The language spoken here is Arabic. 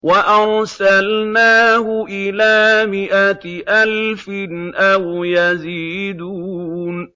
وَأَرْسَلْنَاهُ إِلَىٰ مِائَةِ أَلْفٍ أَوْ يَزِيدُونَ